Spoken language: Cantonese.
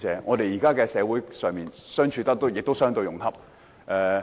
我覺得現時社會上不同性傾向的人士相處也相對融洽。